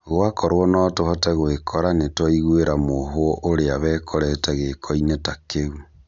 Gwakorwo notũhote gwĩkora nĩtwaiguĩra mũohwo ũrĩa wĩkorete gĩkĩro-inĩ ta kĩu